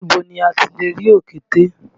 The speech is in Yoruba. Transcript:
Ibo ni a ti lè rí òkété?